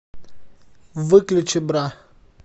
выключи бра